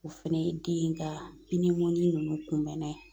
O fɛnɛ ye den ka ninnu kunbɛnna ye